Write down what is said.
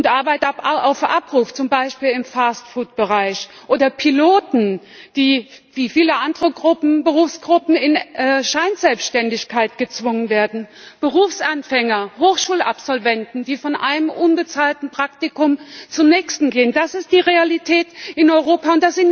Arbeiter auf Abruf, zum Beispiel im Fastfood Bereich, oder Piloten, die wie viele andere Berufsgruppen in Scheinselbständigkeit gezwungen werden, Berufsanfänger, Hochschulabsolventen, die von einem unbezahlten Praktikum zum nächsten gehen das ist die Realität in Europa!